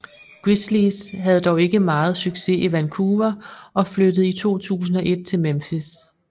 Grizzlies havde dog ikke meget succes i Vancouver og flyttede i 2001 til Memphis